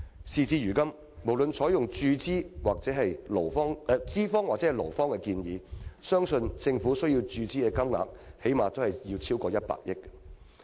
事到如今，無論是採用資方或勞方的建議，相信政府需要注資的金額最低限度超過100億元。